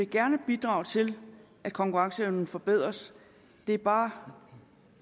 gerne vil bidrage til at konkurrenceevnen forbedres det er bare